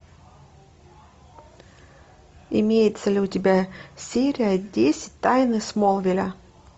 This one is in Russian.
имеется ли у тебя серия десять тайны смолвиля